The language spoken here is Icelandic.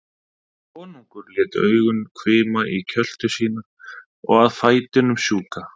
Konungur lét augun hvima í kjöltu sína og að fætinum sjúka.